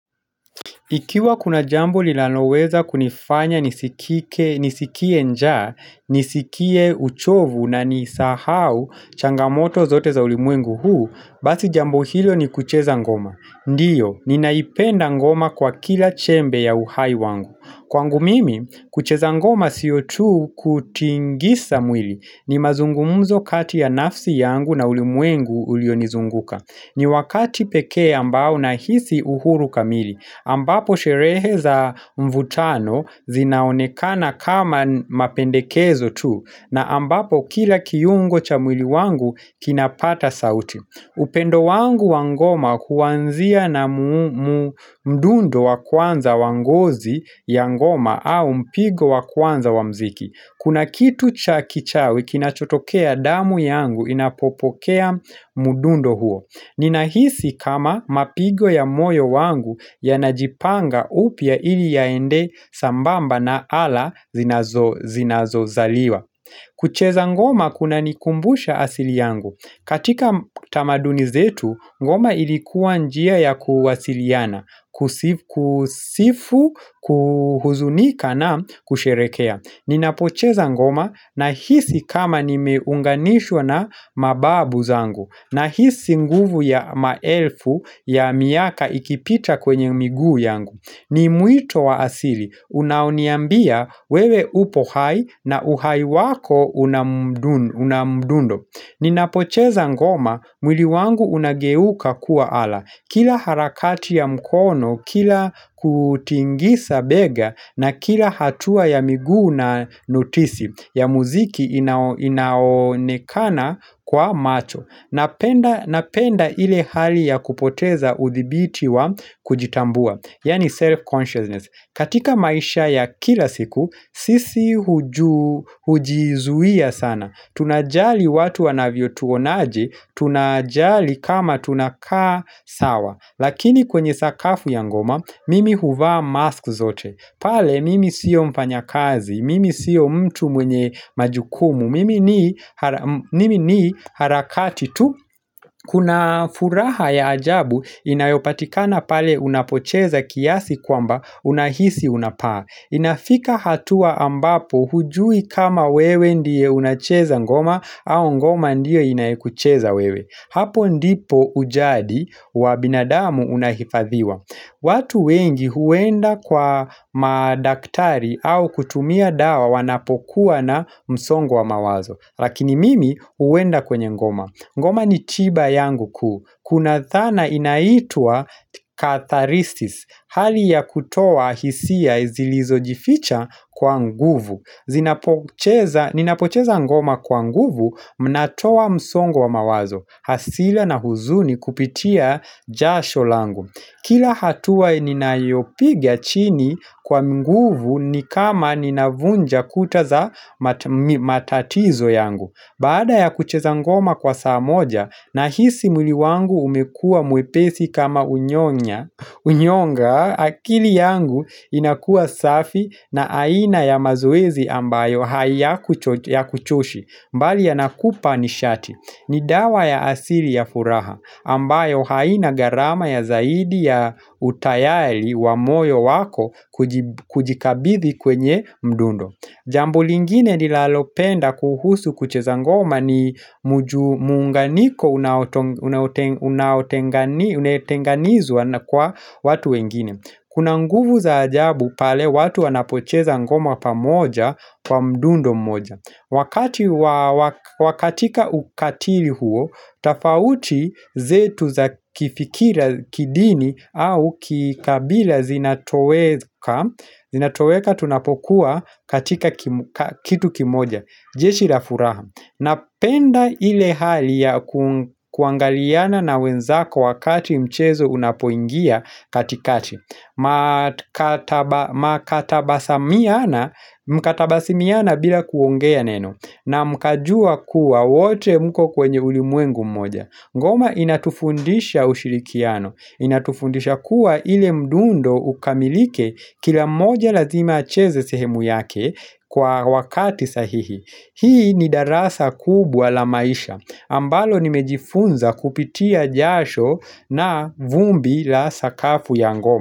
Ikiwa kuna jambo linaloweza kunifanya nisikie nja, nisikie uchovu na nisahau changamoto zote za ulimwengu huu, basi jambo hilo ni kucheza ngoma. Ndiyo, ninaipenda ngoma kwa kila chembe ya uhai wangu. Kwangu mimi, kucheza ngoma sio tu kutingisa mwili, ni mazungumzo kati ya nafsi yangu na ulimwengu ulionizunguka. Ni wakati pekee ambao nahisi uhuru kamili, ambapo sherehe za mvutano zinaonekana kama mapendekezo tu, na ambapo kila kiungo cha mwili wangu kinapata sauti. Upendo wangu wa ngoma kuanzia na mdundo wa kwanza wa ngozi ya ngoma au mpigo wa kwanza wa mziki. Kuna kitu cha kichawi kinachotokea damu yangu inapopokea mdundo huo. Ninahisi kama mapigo ya moyo wangu yanajipanga upya ili yaende sambamba na ala zinazozaliwa kucheza ngoma kunanikumbusha asili yangu katika tamaduni zetu ngoma ilikuwa njia ya kuwasiliana Kusifu, kuhuzunika na kusherekea. Ninapocheza ngoma nahisi kama nimeunganishwa na mababu zangu, nahisi nguvu ya maelfu ya miaka ikipita kwenye miguu yangu. Ni mwito wa asili unaoniambia wewe upo hai na uhai wako na mdundo. Ninapocheza ngoma mwili wangu unageuka kuwa ala. Kila harakati ya mkono, kila kutingisa bega na kila hatua ya miguu na notisi ya muziki inaonekana kwa macho. Napenda ile hali ya kupoteza uthibiti wa kujitambua, yani self-consciousness katika maisha ya kila siku. Sisi hujizuia sana, Tunajali watu wanavyotuonaje. Tunajali kama tunakaa sawa Lakini kwenye sakafu ya ngoma, Mimi huvaa mask zote pale mimi siyo mfanya kazi Mimi sio mtu mwenye majukumu. Mimi ni harakati tu kuna furaha ya ajabu inayopatikana pale unapocheza kiasi kwamba unahisi unapaa Inafika hatua ambapo hujui kama wewe ndiye unacheza ngoma au ngoma ndiye inayekucheza wewe. Hapo ndipo ujadi wa binadamu unahifadhiwa watu wengi huenda kwa madaktari au kutumia dawa wanapokuwa na msongo wa mawazo. Lakini mimi huenda kwenye ngoma, ngoma ni chiba yangu kuu. Kuna dhana inaitwa katharistis. Hali ya kutoa hisia zilizojificha kwa nguvu Ninapocheza ngoma kwa nguvu Mnatoa msongo wa mawazo, hasira na huzuni kupitia jasho langu. Kila hatua ninayopiga chini kwa nguvu ni kama ninavunja kuta za matatizo yangu. Baada ya kucheza ngoma kwa saa moja, nahisi mwili wangu umekua mwepesi kama unyonga, akili yangu inakua safi na aina ya mazoezi ambayo hayakuchoshi, mbali ya yakupa nishati. Ni dawa ya asili ya furaha, ambayo haina gharama ya zaidi ya utayari wa moyo wako kujikabidhi kwenye mdundo. Jambo lingine ninalopenda kuhusu kucheza ngoma ni muunganiko unaotenganizwa na kwa watu wengine. Kuna nguvu za ajabu pale watu wanapocheza ngoma pamoja kwa mdundo mmoja. Wakati wa katika ukatili huo, tofauti zetu za kifikira, kidini au kikabila zinatoweka, zinatoweka tunapokuwa katika kitu kimoja. Jeshi la furaha, napenda ile hali ya kuangaliana na wenzako wakati mchezo unapoingia katikati Mkatabasimiana bila kuongea neno, na mkajua kuwa wote mko kwenye ulimwengu mmoja. Ngoma inatufundisha ushirikiano, inatufundisha kuwa ile mdundo ukamilike kila mmoja lazima acheze sehemu yake Kwa wakati sahihi. Hii ni darasa kubwa la maisha, ambalo nimejifunza kupitia jasho na vumbi la sakafu ya ngoma.